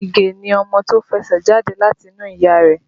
Ige ni ọmọ tí ó fẹsẹ̀ jáde láti inú ìyá rẹ̀